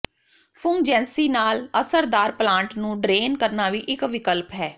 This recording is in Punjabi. ਫ਼ੁੰਗਜੈਂਸੀ ਨਾਲ ਅਸਰਦਾਰ ਪਲਾਂਟ ਨੂੰ ਡਰੇਨ ਕਰਨਾ ਵੀ ਇੱਕ ਵਿਕਲਪ ਹੈ